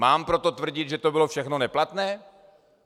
Mám proto tvrdit, že to bylo všechno neplatné?